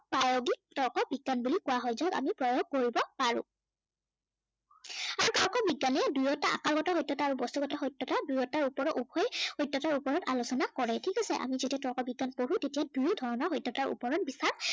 তৰ্ক বিজ্ঞান বুলি কোৱা হয়। যত আমি প্ৰয়োগ কৰিব পাৰো। আৰু তৰ্ক বিজ্ঞানে দুয়োটা আকাৰগত সত্য়তা আৰু বস্তুগত সত্য়তা দুয়োটাৰ ওপৰত উভয় সত্য়তাৰ ওপৰত আলোচনা কৰে। ঠিক আছে। আমি যেতিয়া তৰ্ক বিজ্ঞান পঢ়ো তেতিয়া দুই ধৰণৰ সত্য়তাৰ ওপৰত বিচাৰ